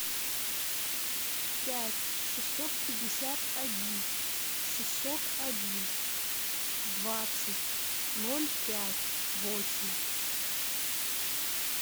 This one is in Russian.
пять шестьсот пятьдесят один шестьсот один двадцать ноль пять восемь